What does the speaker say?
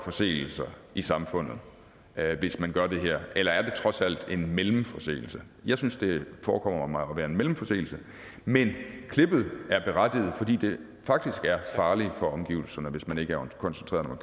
forseelser i samfundet hvis man gør det her eller er det trods alt en mellemforseelse jeg synes det forekommer mig at være en mellemforseelse men klippet er berettiget fordi det faktisk er farligt for omgivelserne hvis man ikke er koncentreret når